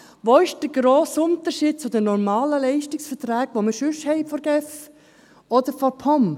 Wo ist der grosse Unterschied zu den normalen Leistungsverträgen, die wir sonst von der GEF oder der POM haben?